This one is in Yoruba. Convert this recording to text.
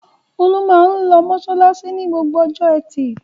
Olú máa ń lọ mọṣáláṣí ní gbogbo ọjọ́ ẹtì.